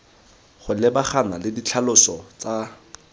go lebagana le ditlhaloso tsa